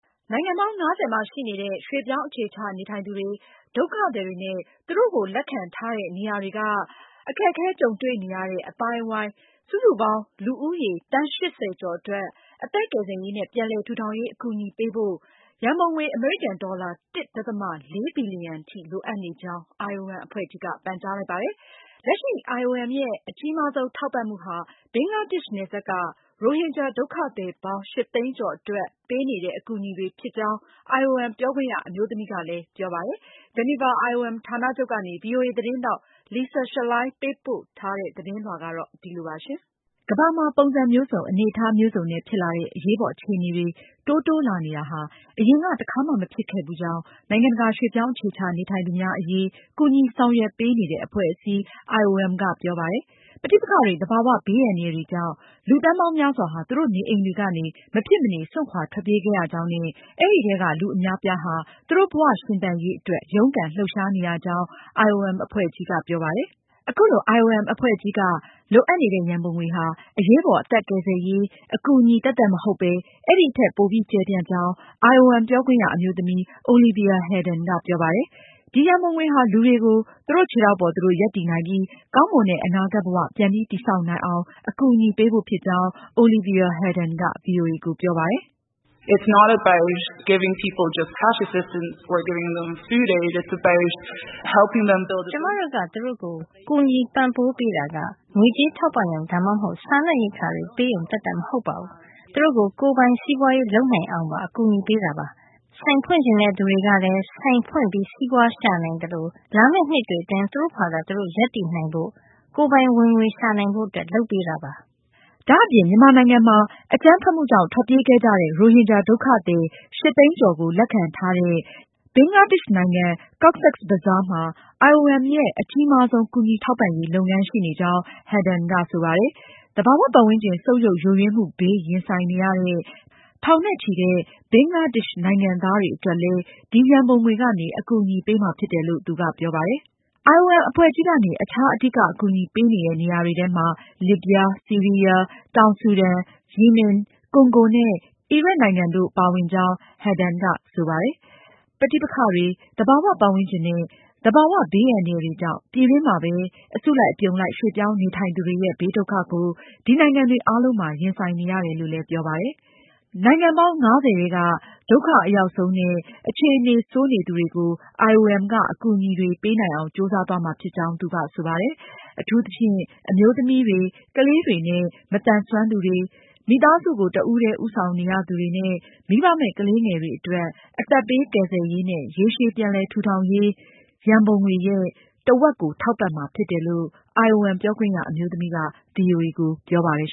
နိုင်ငံပေါင်း ၅၀ မှာရှိနေတဲ့ ရွှေ့ပြောင်းအခြေချနေထိုင်သူတွေ၊ ဒုက္ခသည်တွေနဲ့ သူတို့ကို ကူညီစောင့်ရှောက်ပေးနေတဲ့ အသိုင်းအဝိုင်း စတဲ့ လူဦးရေ သန်းပေါင်း ၈၀ ကျော်အတွက် အသက်ကယ်ဆယ်ရေးနဲ့ ပြန်လည်ထူထောင်ရေးအကူအညီပေးဖို့ ရန်ပုံငွေ အမေရိကန်ဒေါ်လာ ၁.၄ ဘီလီယံလိုအပ်နေကြောင်း IOM အဖွဲ့ကြီးက ပန်ကြားလိုက်ပါတယ်။ ဒါအပြင် လက်ရှိ IOM ရဲ့ အကြီးမားဆုံး ထောက်ပံမှုဟာ ဘင်္ဂလားဒေ့ရှ်နယ်စပ်က ရိုဟင်ဂျာဒုက္ခသည်ပေါင်း ၈ သိန်းကျော်အတွက်ပေးနေတဲ့အကူအညီဖြစ်ကြောင်း IOM ပြောခွင့်ရအမျိုးသမီးက ဗွီအိုအေကိုပြောပါတယ်။ ဂျီနီဗာ IOM ဌာနချုပ်ကနေ ဗွီအိုအေသတင်းထောက် Lisa Schlein ပေးပို့ထားတဲ့ သတင်းလွှာကို မအင်ကြင်းနိုင်က ပြောပြမှာပါ။ ကမ္ဘာမှာ ပုံစံမျိုးစုံ၊ အနေအထားမျိုးစုံနဲ့ ဖြစ်လာတဲ့အရေးပေါ်အခြေအတွေ တိုးတိုးလာနေတာဟာ အရင်က တခါမှ မဖြစ်ခဲ့ကြောင်းနိုင်ငံတကာ ရွှေ့ပြောင်း အခြေချနေ ထိုင်သူများ အရေး ကူညီဆောင်ရွက်ပေးနေတဲ့အဖွဲ့ အစည်း IOM ကပြောပါတယ်။ ပဋိပက္ခတွေ၊ သဘာ၀ ဘေးအန္တရာယ်တွေကြောင့် လူ သန်းပေါင်းများစွာဟာ သူတို့နေအိမ်တွေကနေ မဖြစ်မနေ စွန့်ခွာထွက်ပြေးခဲ့ရကြောင်းနဲ့ အဲဒီထဲက လူအများအပြားဟာ သူတို့ဘဝရှင်သန်ရေးအတွက် ရုန်းကန်လှုပ်ရှားနေရကြောင်း IOM အဖွဲ့ကြီးက ပြောပါတယ်။ အခုလို IOM အဖွဲ့ကြီးကလိုအပ်နေတဲ့ ရန်ပုံငွေဟာ အရေးပေါ် အသက်ကယ်ဆယ်ရေး အကူအညီ သက်သက်မဟုတ်ပဲ အဲဒီထက် ပိုပြီး ကျယ်ပြန့်ကြောင်း IOM ပြောခွင့်ရ အမျိုးသမီး Olivia Headon ကပြောပါတယ်။ ဒီရန်ပုံငွေဟာ လူတွေကို သူတို့ခြေထောက်ပေါ် သူတို့ရပ်တည်နိုင်ပြီး ကောင်းမွန်တဲ့ အနာဂတ်ဘ၀ ပြန်ပြီးတည်ဆောက်နိုင်အောင် အကူအညီပေးဖို့ဖြစ်ကြောင်း Olivia Headon က ဗွီအိုအေကို ပြောပါတယ်။ "ကျမတို့က သူတို့ကို ငွေကြေးထောက်ပံရုံ ဒါမှမဟုတ် စားနပ်ရိက္ခာတွေပေးရုံ သက်သက်မဟုတ်ပါဘူး။ သူတို့ကို ကိုယ်ပိုင်စီးပွားရေးလုပ်နိုင်အောင် အကူညီပေးပါတယ်။ လာမယ့် နှစ်တွေအတွင်း သူတို့ ဆိုင်ဖွင့်ချင်တဲ့သူတွေလည်း ဆိုင်ဖွင့် စီးပွားရှာနိုင်သလို လာမယ့်နှစ်တွှေအတွင်း သူတို့ဘာသာသူတို့ ရပ်တည်နိုင်ဖို့၊ကိုယ်ပိုင်ဝင်ငွေရှာနိုင်ဖို့ လုပ်ပေးတာပါ။" ဒါအပြင် မြန်မာနိုင်ငံမှာ အကြမ်းဖက်မှုကြောင့် ထွက်ပြေးခဲ့ကြတဲ့ ရိုဟင်ဂျာ ဒုက္ခသည် ၈၀၀,၀၀၀ ကျော်ကို လက်ခံထားတဲ့ ဘင်္ဂလားဒေ့ရှ်နိုင်ငံ Cox’s Bazar မှာ IOM ရဲ့ အကြီးမားဆုံး ကူညီထောက်ပံရေးလုပ်ငန်းရှိနေကြောင်း Headon ကဆိုပါတယ်။ သဘာဝပတ်ဝန်းကျင် ဆုတ်ယုတ်ယိုယွင်းမှုဘေး ရင်ဆိုင်နေရတဲ့ ထောင်နဲ့ချီတဲ့ ဘင်္ဂလားဒေ့ရှ်နိုင်ငံသားတွေကိုလည်း ဒီရံပုံငွေကနေ အကူအညီပေးမှာဖြစ်တယ်လို့လည်း သူကပြောပါတယ်။ IOM အဖွဲ့ကြီးကနေ အခြား အဓိက အကူအညီပေးနေတဲ့နေရာတွေထဲမှာ လစ်ဗျား၊ ဆီရီးယား၊ တောင်ဆူဒန်၊ ရီမင်၊ ကွန်ဂိုနဲ့ အီရတ်နိုင်ငံတို့ပါဝင်ကြောင်း Headon ကဆိုပါတယ်။ ပဋိပက္ခတွေ၊ သဘာဝပတ်ဝန်းကျင်နဲ့ ဘဘာဝဘေးအန္တရာယ်တွေကြောင့် ပြည်တွင်းမှာပဲ အစုလိုက်အပြုံလိုက် ရွှေ့ပြောင်းနေထိုင်သူတွေရဲ့ ဘေးဒုက္ခကို ဒီနိုင်ငံတွေအားလုံးမှာရင်ဆိုင်နေရတယ်လို့ ပြောပါတယ်။ နိုင်ငံပေါင်း ၅၀ ထဲက အကာအကွယ်မဲ့နေသူတွေကိုIOM က ဦးစားပေး ကူညီဖို့ ကြိုးစားသွားမှာဖြစ်ကြောင့် သူကဆိုပါတယ်။ အထူးသဖြင့် အမျိုးသမီးတွေ၊ ကလေးတွေနဲ့ မသန်စွမ်းသူတွေ၊ မိသားစုကို တဦးတည်းဦးဆောင်နေရသူတွေနဲ့ မိဘမဲ့ကလေးတွေအတွက် အသက်ဘေးကယ်ဆယ်ရေးနဲ့ ရေရှည်ပြန်လည်ထူထောင်ရေး ရန်ပုံငွေရဲ့တဝက် ထောက်ပံမှာဖြစ်တယ်လို့ IOM ပြောခွင့်ရအမျိုးသမီးက ဗွီအိုအေကိုပြောပါတယ်။